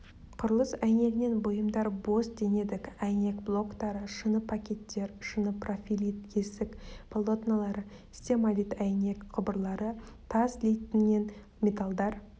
құрылыс әйнегінен бұйымдар бос денедік әйнек блоктары шыны пакеттер шыны профилит есік полотнолары стемалит әйнек құбырлары тас литінен металлдардан